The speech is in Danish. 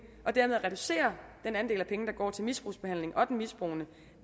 og dermed reducere den andel af penge der går til misbrugsbehandling og den misbrugende